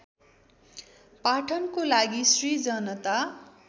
पाठनको लागि श्री जनता